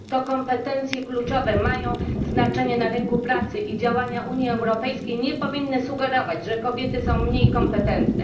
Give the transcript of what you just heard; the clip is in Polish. To kompetencje kluczowe mają znaczenie na rynku pracy i działania Unii Europejskiej nie powinny sugerować, że kobiety są mniej kompetentne.